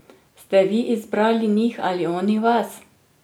Ste vi izbrali njih ali oni vas?